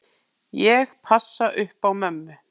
Ég passa upp á mömmu.